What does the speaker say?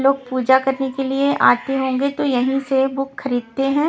लोग पूजा करने के लिए आते होंगे तो यहीं से बुक खरीदते हैं।